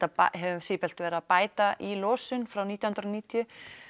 höfum sífellt verið að bæta í losun frá nítján hundruð og níutíu